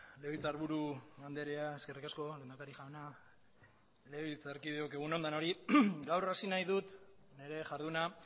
legebiltzarburu andrea eskerrik asko lehendakari jauna legebiltzarkideok egun on denori gaur hasi nahi dut nire jarduna